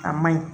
A ma ɲi